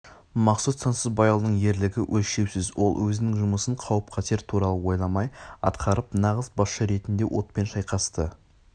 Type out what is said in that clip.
мақсұт сансызбайұлының ерлігі өлшеусіз ол өзінің жұмысын қауіп-қатер туралы ойламай атқарып нағыз басшы ретінде отпен шайқасты